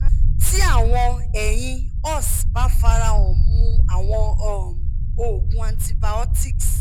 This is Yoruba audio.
ti awọn eyin ous ba farahan mu awọn um oogun antibiotics